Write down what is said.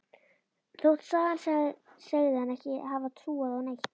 Þótt sagan segði hana ekki hafa trúað á neitt.